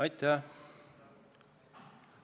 Aitäh!